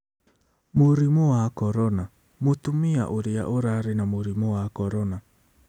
Mũrimũ wa Korona: Mũtumia ũrĩa ũrarĩ na mũrimũ wa Korona